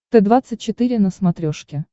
т двадцать четыре на смотрешке